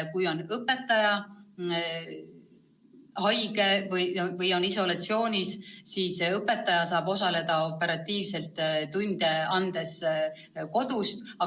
Kui õpetaja on haige või isolatsioonis, saab ta operatiivselt tunde kodust anda.